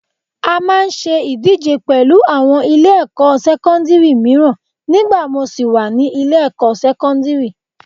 A máa ń ṣe ìdíje pẹ̀lú àwọn ilé-ẹ̀kọ́ sẹ́kọ́ndírì mìíràn ni gba mo ṣì wà ní ilé-ẹ̀kọ́ sẹ́kọ́ndírì